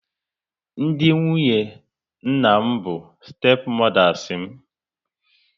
Ndị nwunye nna m bụ stepu modas m